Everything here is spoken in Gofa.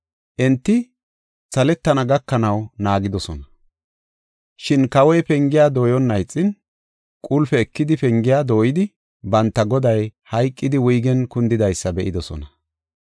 Enti saletana gakanaw naagidosona. Shin kawoy pengiya dooyonna ixin, qulpe ekidi pengiya dooyidi, banta goday hayqidi, wuygen kundidaysa be7idosona.